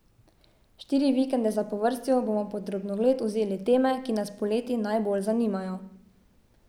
Štiri vikende zapovrstjo bomo pod drobnogled vzeli teme, ki nas poleti najbolj zanimajo.